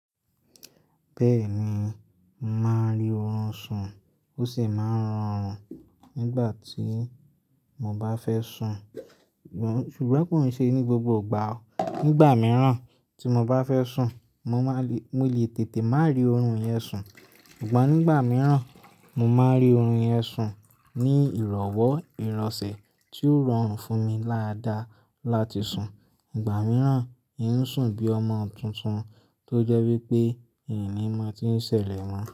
Bẹ́ẹ̀ni, màá rí ọ̀run sùn, ó sì máa ń rọrùn nígbà tí mo bá fẹ́ sùn. Ṣùgbọ́n kò n ṣe ní gbogbo ìgbà o. Nígbà mìíràn tí mo bá fẹ́ sùn, mo lè tètè má rí ọ̀orun yẹn sùn. Ìgbà nígbà mìíràn, mo máa rí oọ̀run yẹn sùn ní ìrọ̀wọ́ ìrọ̀sẹ̀ tí ó rọrùn fún mi dáda láti sùn. Ìgbà mìíràn, hin sùn bí ọmọ tuntun tó jẹ́ wípé hìn ní máa n tí ń ṣẹlẹ̀ mọ́.